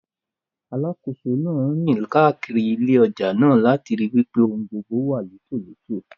Alákòóso náà ń rìn káàkiri ilé ọjà náà, láti ríi wípé ohun gbogbo wà létòletò.